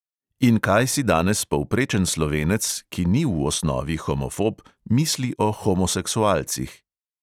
In kaj si danes povprečen slovenec, ki ni v osnovi homofob, misli o homoseksualcih?